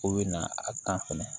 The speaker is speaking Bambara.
O bɛ na a tan fɛnɛ